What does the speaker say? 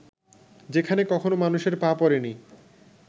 যেখানে কখনো মানুষের পা পড়েনি